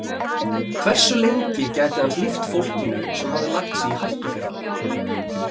Hversu lengi gæti hann hlíft fólkinu sem hafði lagt sig í hættu fyrir hann?